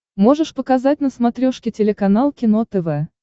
можешь показать на смотрешке телеканал кино тв